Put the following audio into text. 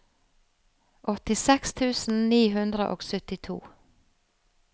åttiseks tusen ni hundre og syttito